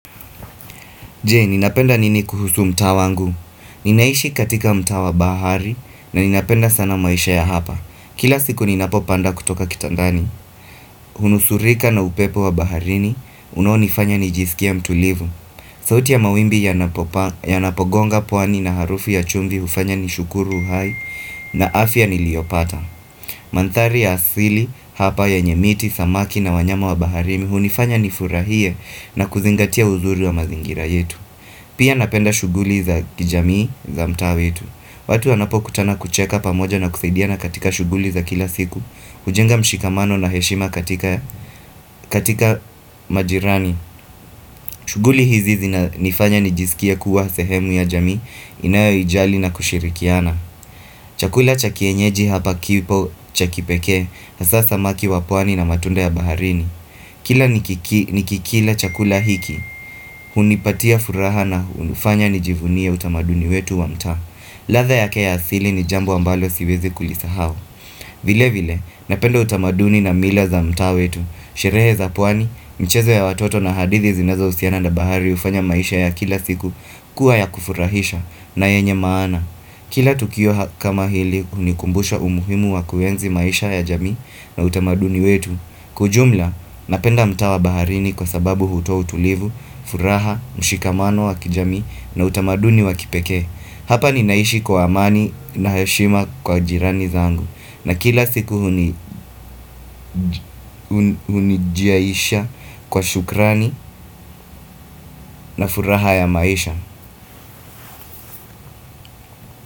Je, ninapenda nini kuhusu mtaa wangu? Ninaishi katika mtaa wa bahari na ninapenda sana maisha ya hapa. Kila siku ninapopanda kutoka kitandani. Hunusurika na upepo wa baharini, unaonifanya nijisikie mtulivu. Sauti ya mawimbi yanapo gonga pwani na harufi ya chumvi ufanya nishukuru uhai na afya niliopata. Manthari ya asili hapa yenye miti, samaki na wanyama wa baharini hunifanya nifurahie na kuzingatia uzuri wa mazingira yetu. Pia napenda shughuli za kijamii za mtaa wetu watu anapokutana kucheka pamoja na kusaidia na katika shughuli za kila siku ujenga mshikamano na heshima katika majirani shughuli hizi zinanifanya nijisikie kuwa sehemu ya jamii inayoijali na kushirikiana Chakula cha kienyeji hapa kipo cha kipeke, hasa samaki wa pwani na matunda ya baharini Kila nikikila chakula hiki, hunipatia furaha na hunufanya nijivunie utamaduni wetu wa mtaa ladha yake ya asili ni jambo ambalo siwezi kulisahau vile vile, napenda utamaduni na mila za mtaa wetu Sherehe za pwani, mchezo ya watoto na hadithi zinazo usiana na bahari ufanya maisha ya kila siku kuwa ya kufurahisha na yenye maana Kila tukio kama hili, unikumbusha umuhimu wa kuenzi maisha ya jamii na utamaduni wetu Kwa ujumla, napenda mtaa wa baharini kwa sababu hutuo utulivu, furaha, mshikamano wa kijamii na utamaduni wa kipekee Hapa ninaishi kwa amani na heshima kwa jirani zangu na kila siku hunijiaisha kwa shukrani na furaha ya maisha.